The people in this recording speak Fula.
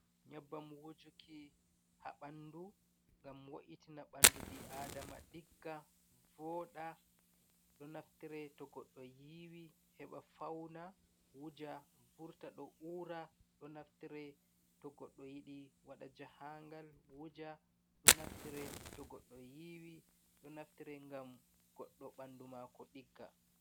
Nyebbam wojuki haa ɓanndu ngam wo’itina ɓanndu ɓi-aadama ɗigga vooɗa .Ɗo naftire to goɗɗo yiiwi ,heɓa fawna wuja vurta do ura .Ɗo naftire to goɗɗo yiɗi waɗa jahangal wuja .Ɗo naftire to goɗɗo yiwi ,ɗo naftire ngam goɗɗo ɓanndu maako ɗigga.